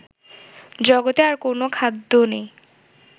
জগতে আর কোনও খাদ্য নেই